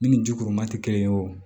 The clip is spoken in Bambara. Min ni ji kuru ma tɛ kelen ye o